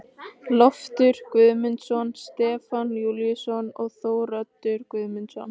Loftur Guðmundsson, Stefán Júlíusson og Þóroddur Guðmundsson.